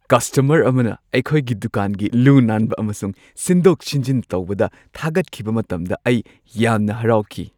Customer ꯑꯃꯅ ꯑꯩꯈꯣꯏꯒꯤ ꯗꯨꯀꯥꯟꯒꯤ ꯂꯨ-ꯅꯥꯟꯕ ꯑꯃꯁꯨꯡ ꯁꯤꯟꯗꯣꯛ-ꯁꯤꯟꯖꯤꯟ ꯇꯧꯕꯗ ꯊꯥꯒꯠꯈꯤꯕ ꯃꯇꯝꯗ ꯑꯩ ꯌꯥꯝꯅ ꯍꯔꯥꯎꯈꯤ꯫